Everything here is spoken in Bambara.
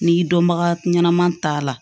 N'i dɔnbaga ɲɛnama ta la